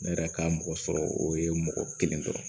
Ne yɛrɛ ka mɔgɔ sɔrɔ o ye mɔgɔ kelen dɔrɔn